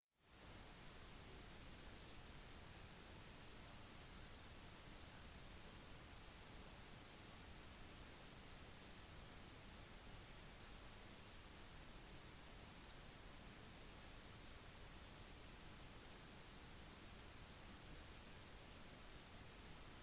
du kan ikke regne med at alt skal være som «hjemme» når du er på reise. manerer regler mat trafikk losji standarder språk osv. vil til en viss grad være annerledes enn der man kommer fra